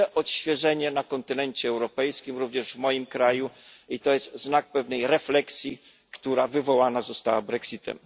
Widzę odświeżenie na kontynencie europejskim, również w moim kraju, i to jest znak pewnej refleksji, która wywołana została Brexitem.